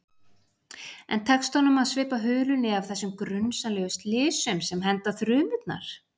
En tekst honum að svipta hulunni af þessum grunsamlegu slysum, sem henda þrumurnar?